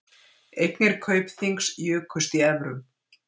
Eignir Kaupþings jukust í evrum